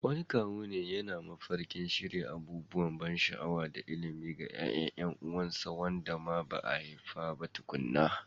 Wani kawu yana mafarkin shirya abubuwan ban sha'awa da ilimi ga ƴaƴan ƴan uwansa waɗanda ba a haifa ba tukuna.